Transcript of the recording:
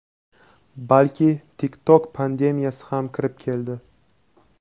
balki TikTok "pandemiyasi" ham kirib keldi.